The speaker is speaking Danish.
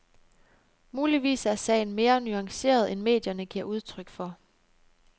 Muligvis er sagen mere nuanceret end medierne giver udtryk for.